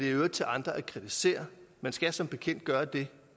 i øvrigt til andre at kritisere man skal som bekendt gøre det